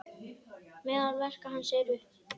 Meðal verka hans eru